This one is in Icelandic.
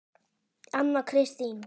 Anna Kristín